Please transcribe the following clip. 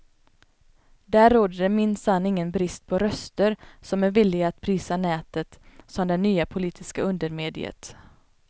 Där råder det minsann ingen brist på röster som är villiga att prisa nätet som den nya politiska undermediet.